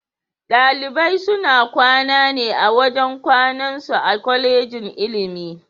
Dalibai suna kwana ne a wajen kwanan su a Kwallejin ilimi.